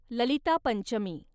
Lalita Panchami